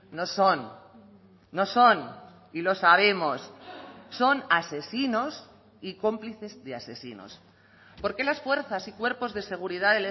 no son no son y lo sabemos son asesinos y cómplices de asesinos por qué las fuerzas y cuerpos de seguridad